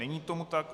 Není tomu tak.